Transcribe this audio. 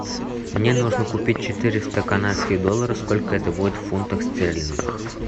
мне нужно купить четыреста канадских долларов сколько это будет в фунтах стерлингах